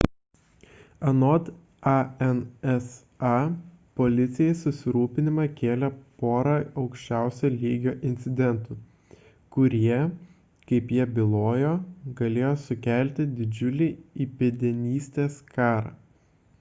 anot ansa policijai susirūpinimą kėlė pora aukščiausio lygio incidentų kurie kaip jie bijojo galėjo sukelti didžiulį įpėdinystės karą